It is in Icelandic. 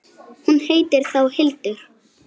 Hún heitir þá Hildur!